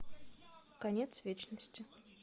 конец вечности